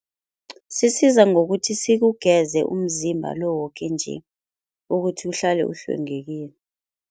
Sisiza ngokuthi sikugeze umzimba lo woke nje, ukuthi uhlale uhlwengekile.